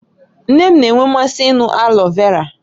Nne m na-enwe mmasị ịṅụ aloe vera